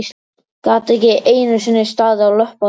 Gat ekki einu sinni staðið á löppunum!